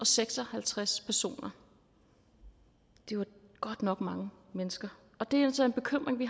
seks og halvtreds personer det var godt nok mange mennesker og det er jo så en bekymring vi